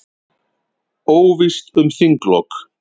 Óvíst um þinglok